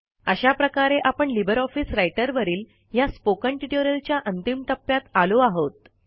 अशाप्रकारे आपण LibreOffice Writer वरील ह्या स्पोकन ट्युटोरियलच्या अंतिम टप्प्यात आलो आहोत